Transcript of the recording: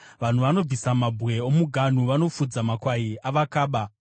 Vanhu vanobvisa mabwe omuganhu; vanofudza makwai avakaba.